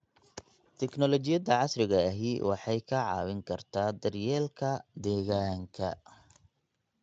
Tignoolajiyada casriga ahi waxay kaa caawin kartaa daryeelka deegaanka.